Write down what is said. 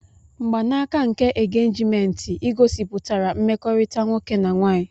Mgbanaka nke engejiment igosipụtara mmekorita nwoke na nwaanyị.